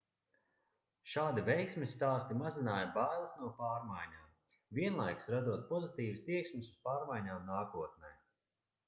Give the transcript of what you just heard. šādi veiksmes stāsti mazināja bailes no pārmaiņām vienlaikus radot pozitīvas tieksmes uz pārmaiņām nākotnē